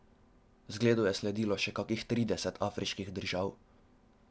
Zgledu je sledilo še kakih trideset afriških držav.